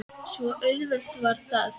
Svo auðvelt var það.